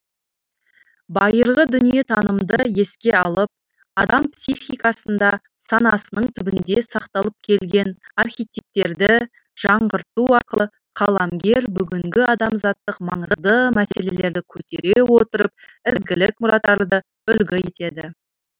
байырғы дүниетанымды еске алып адам психикасында санасының түбінде сақталып келген архетипттерді жаңғырту арқылы қаламгер бүгінгі адамзаттық маңызды мәселелерді көтере отырып ізгілік мұраттарды үлгі етеді